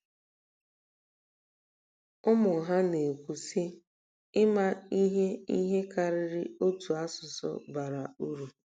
Ụmụ ha na-ekwu, sị: “ Ị́mâ ihe ihe karịrị otu asụsụ bara uru.